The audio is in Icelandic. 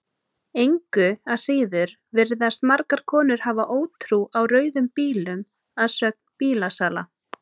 Engu að síður virðast margar konur hafa ótrú á rauðum bílum að sögn bílasala.